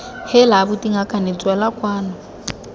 heela abuti ngakane tswela kwano